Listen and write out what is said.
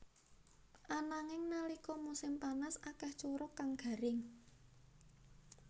Ananging nalika musim panas akéh curug kang garing